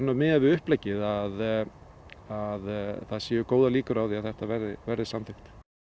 miðað við uppleggið að að það séu góðar líkur á að þetta verði verði samþykkt